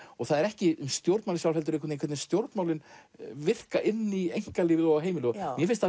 og það er ekki stjórnmálin sjálf heldur hvernig stjórnmálin virka inn í einkalífið og heimilið mér finnst það